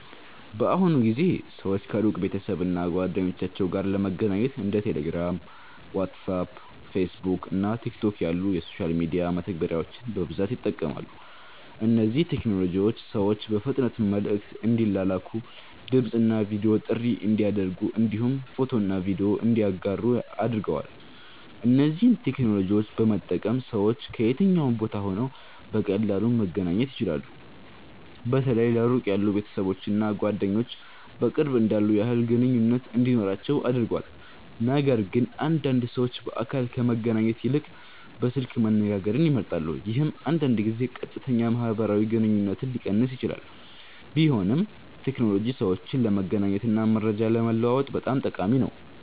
በአሁኑ ጊዜ ሰዎች ከሩቅ ቤተሰብ እና ጓደኞቻቸው ጋር ለመገናኘት እንደ ቴሌግራም፣ ዋትስአፕ፣ ፌስቡክ እና ቲክቶክ ያሉ የሶሻል ሚዲያ መተግበሪያዎችን በብዛት ይጠቀማሉ። እነዚህ ቴክኖሎጂዎች ሰዎች በፍጥነት መልዕክት እንዲላላኩ፣ ድምፅ እና ቪዲዮ ጥሪ እንዲያደርጉ እንዲሁም ፎቶና ቪዲዮ እንዲያጋሩ አድርገዋል። እነዚህን ቴክኖሎጂዎች በመጠቀም ሰዎች ከየትኛውም ቦታ ሆነው በቀላሉ መገናኘት ይችላሉ። በተለይ ለሩቅ ያሉ ቤተሰቦች እና ጓደኞች በቅርብ እንዳሉ ያህል ግንኙነት እንዲኖራቸው አድርጓል። ነገርግን አንዳንድ ሰዎች በአካል ከመገናኘት ይልቅ በስልክ መነጋገርን ይመርጣሉ፣ ይህም አንዳንድ ጊዜ ቀጥተኛ ማህበራዊ ግንኙነትን ሊቀንስ ይችላል። ቢሆንም ቴክኖሎጂ ሰዎችን ለመገናኘት እና መረጃ ለመለዋወጥ በጣም ጠቃሚ ነው።